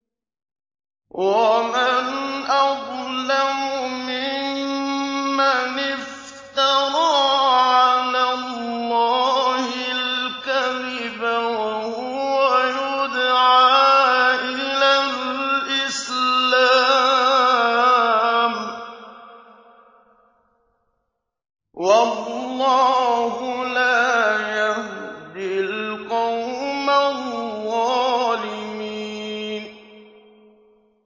وَمَنْ أَظْلَمُ مِمَّنِ افْتَرَىٰ عَلَى اللَّهِ الْكَذِبَ وَهُوَ يُدْعَىٰ إِلَى الْإِسْلَامِ ۚ وَاللَّهُ لَا يَهْدِي الْقَوْمَ الظَّالِمِينَ